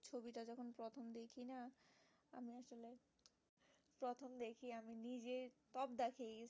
আমি নিজেই সব দেখে